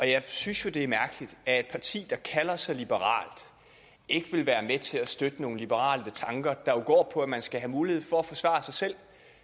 jeg synes jo det er mærkeligt at et parti der kalder sig liberalt ikke vil være med til at støtte nogle liberale tanker der jo går på at man skal have mulighed for at forsvare sig selv